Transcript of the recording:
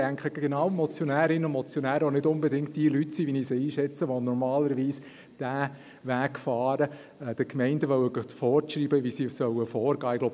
Und ich denke, genau die Motionärinnen und Motionäre sind auch nicht unbedingt diejenigen Leute – so, wie ich sie einschätze –, die normalerweise den Weg fahren, den Gemeinden vorschreiben zu wollen, wie sie vorgehen sollen.